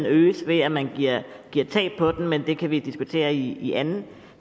øges ved at man giver tab på den men det kan vi diskutere i i anden